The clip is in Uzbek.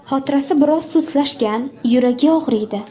Xotirasi biroz sustlashgan, yuragi og‘riydi.